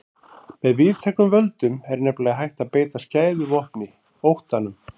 Með víðtækum völdum er nefnilega hægt að beita skæðu vopni, óttanum.